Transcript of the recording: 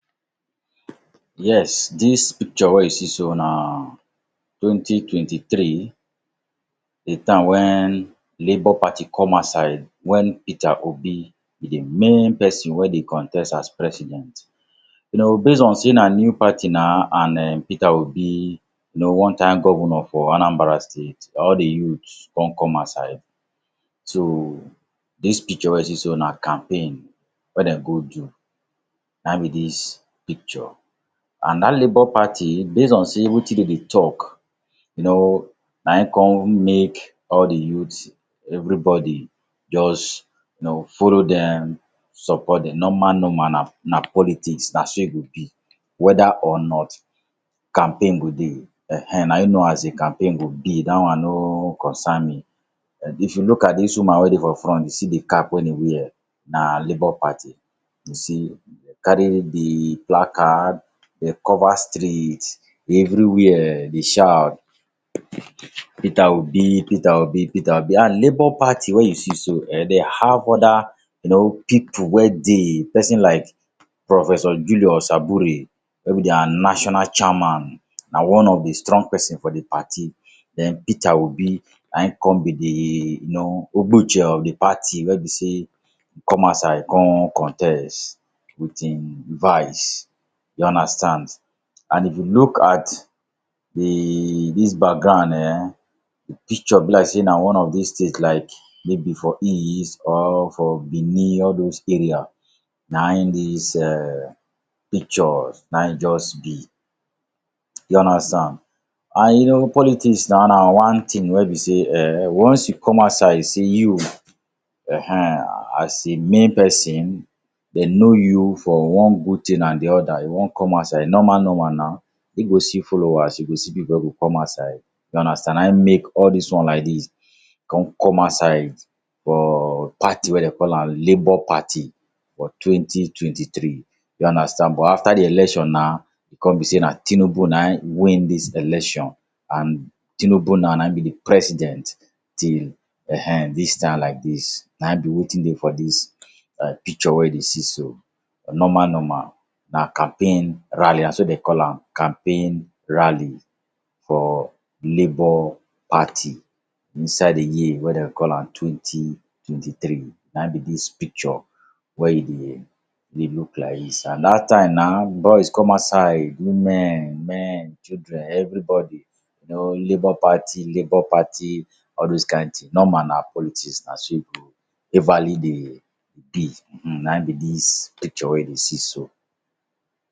Yes, dis picture wey you see so na twenty-twenty-three, di time wen Labour Party come outside, wen Peter Obi be di main pesin wey dey contest as president. You know, base on sey na new party nah, an um Peter Obi, you know one time governor for Anambra State, all di youth con come outside. So, dis picture wey you see so na campaign wey dem go do. Ne ein be dis picture. An dat Labour Party base on sey wetin de dey talk, you know, na ein con make all di youth, everybodi juz you know, follow dem, support dem. Normal -normal, na na politics. Na so e go be. Whether or not, campaign go dey. Ehn[um]na you know as di campaign go be. Dat one no concern me. If you look at dis woman wey dey for front, you see di cap wen e wear, na Labour Party. You see, carry di placard, de cover street, everywhere, dey shout, “Peter Obi! Peter Obi! Peter Obi!”. An Labour Party wey you see so eh, de have other you know pipu wey dey—pesin like Professor Julius Abure wey be dia national chairman, an one of di strong pesin for di party. Then, Peter Obi, na ein con be di you know Ogbuche of di party, wey be sey come outside con contest with ein vice, you understand. An if you look at di dis background eh, di picture be like sey na one of dis state like maybe for east or for Benin–all dos area—na ein dis um pictures na ein juz be, you understand? An you know, politics nau na one tin wey be sey eh, once you come outside sey you[um]ehn as a main pesin, de know you for one good tin an di other, you wan come outside, normal-normal nau, e go see followers, you go see pipu wey go come outside, you understand? Na ein make all dis one like dis con come outside for party wey dey call am Labour Party for twenty-twenty-three. You understand? But after di election na, con be sey na Tinubu na ein win dis election an Tinubu nau na ein be di president till[um]ehn dis time like dis. Na ein be wetin dey for dis um picture wey you dey see so. Normal-normal, na campaign rally. Na so de call am—campaign rally for Labour Party inside di year wey de call am twenty-twenty-three. Na ein be dis picture wey you dey look like dis. An dat time nau boys come outside, women, men, children, everybodi you know, Labour Party, Labour Party, all dos kain tin. Normal na politics na so e go everly dey be. um Na ein be dis picture wey you dey see so.